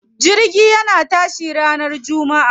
Jirgin yana tashi ranar jummaa.